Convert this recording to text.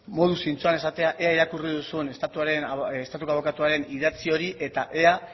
modu zintzoan esatea ea irakurri duzun estatuko abokatuaren idatzi hori eta ea